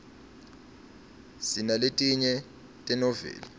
sinaletinye tenoveli